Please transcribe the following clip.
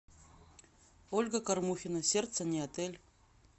ольга кормухина сердце не отель